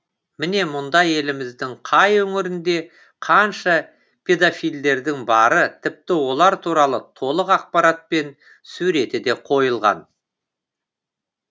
міне мұнда еліміздің қай өңірінде қанша педофилдердің бары тіпті олар туралы толық ақпарат пен суреті де қойылған